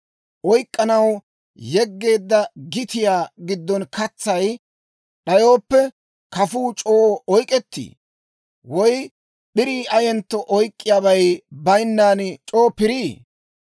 Oyk'k'anaw yeggeedda gitiyaa giddon katsay d'ayooppe, kafuu c'oo oyk'k'ettii? Woy p'irii ayentto oyk'k'iyaabay bayinnan c'oo pirii?